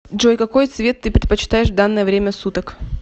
джой какой цвет ты предпочитаешь в данное время суток